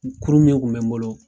Kurun min kun bɛ n bolo.